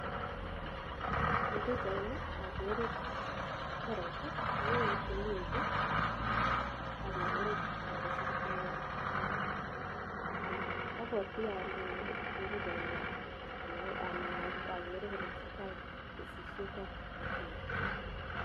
Eng pichait nii akere tereit akeree kitunguik ak chito ne kese kitunguik apwatii alee eng pichait nii angeree tesetaii kesisiat ab kitunguik